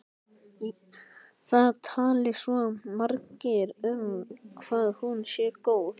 Það tali svo margir um hvað hún sé góð.